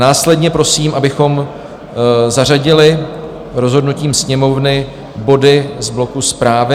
Následně prosím, abychom zařadili rozhodnutím Sněmovny body z bloku Zprávy.